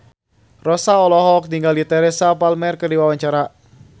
Rossa olohok ningali Teresa Palmer keur diwawancara